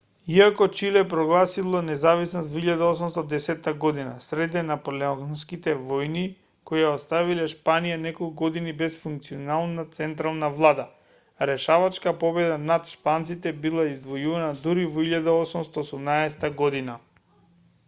иако чиле прогласило независност во 1810 година среде наполеонските војни кои ја оставиле шпанија неколку години без функционална централна влада решавачка победа над шпанците била извојувана дури во 1818 година